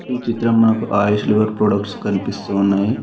ఈ చిత్రం నాకు ఆయుష్షులుగా ప్రొడక్ట్స్ కనిపిస్తు ఉన్నాయి.